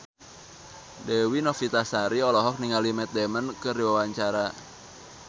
Dewi Novitasari olohok ningali Matt Damon keur diwawancara